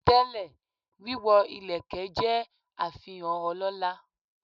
Tẹ́lẹ̀, wíwọ ìlẹ̀kẹ̀ ṣe àfihàn ọlọ́lá.